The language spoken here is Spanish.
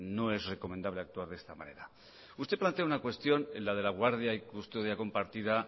no es recomendable actuar de esta manera usted plantea una cuestión en la de la guardia y custodia compartida